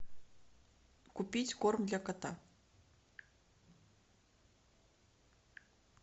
купить корм для кота